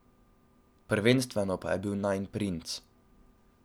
Prvenstveno pa je bil najin princ.